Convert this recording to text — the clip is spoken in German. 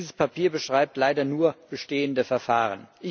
Dieses Papier beschreibt leider nur bestehende Verfahren.